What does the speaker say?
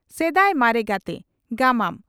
"ᱥᱮᱫᱟᱭ ᱢᱟᱨᱮ ᱜᱟᱛᱮ" (ᱜᱟᱢᱟᱢ)